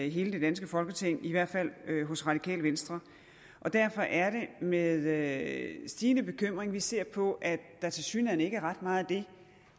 i hele det danske folketing i hvert fald hos radikale venstre derfor er det med stigende bekymring at vi ser på at der tilsyneladende ikke er ret meget af det